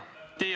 Jah, palun!